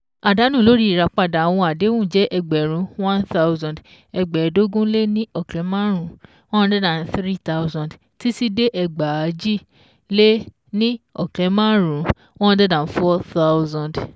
Àdánù lórí Ìràpàdà àwọn Àdéhùn jẹ̀ ẹgbẹ̀rún one thousand, ẹgbẹ́ẹ́dógún-lé-ní-ọ̀kẹ́ márùn-ún one hundred three thoudand títí dé ẹgbàájì-lé-ní-ọ̀kẹ́ márùn-ún one hundred and four thousand